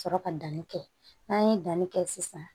Sɔrɔ ka danni kɛ n'an ye danni kɛ sisan